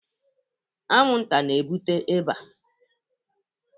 Anwụnta na-ebute ịba